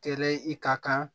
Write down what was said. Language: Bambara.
Kɛlɛ i ka kan